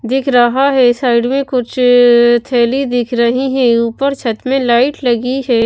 देख रहा है साइड में कुछ थैली दिख रही है ऊपर छत में लाइट लगी है।